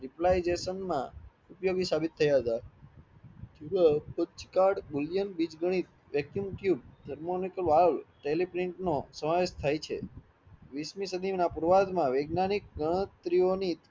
રિપ્લાયજેસોન માં ઉપયોગી સાભિત થયા હતા vacuum tube, સમાવેશ થાય છે વીસમી સાધિન પૂર્વાધ માં વેગનયનિક ગણત્રીયોની